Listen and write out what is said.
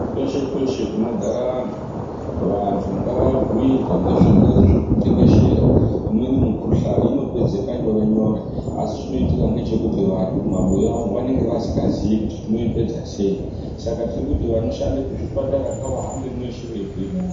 Kweshe kweshe kunogara vantu, vantu ngavabhuirwe ngezvirwere zvirikutekeshera imweni mikhuhlani inopedzeka nyore-nyore asi chinoitika ngechekuti vantu mumabuya umwo vanenge vasikazii kuti tinoipedza sei saka tirikuti vanoshanda kuzvipatara ngavahambe mweshe veibhuira anhu.